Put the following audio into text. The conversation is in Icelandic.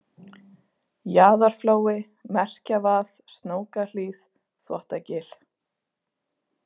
Jaðarflói, Merkjavað, Snókahlíð, Þvottagil